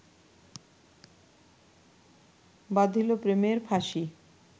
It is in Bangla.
বাধিল প্রেমের ফাঁসি